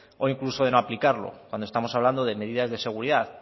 o incluso de no aplicarlo cuando estamos hablando de medidas de seguridad